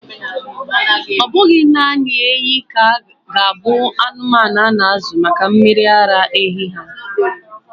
Ọ bụghị naanị ehi ga-abụ anụmanụ a na-azụ maka mmiri ara ehi ha.